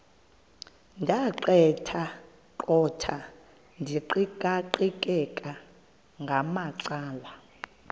ndaqetheqotha ndiqikaqikeka ngamacala